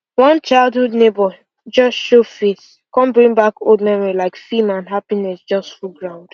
one childhood neighbour just show face come bring back old memories like film and happinss just full ground